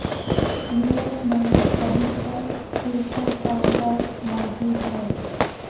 Europe میں ابھی تک ترکوں کا خوف موجود ہے